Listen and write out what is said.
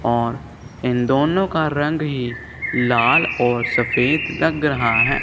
और इन दोनों का रंग ही लाल और सफेद लग रहा है।